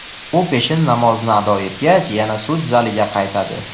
U peshin namozini ado etgach yana sud zaliga qaytadi.